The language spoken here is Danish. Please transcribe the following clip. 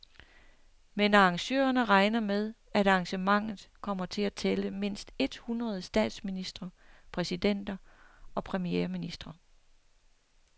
Men arrangørerne regner med, at arrangementet kommer til at tælle mindst et hundrede statsministre, præsidenter og premierministre.